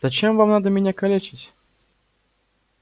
зачем вам надо меня калечить